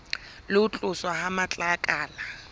le ho tloswa ha matlakala